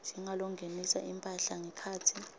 njengalongenisa imphahla ngekhatsi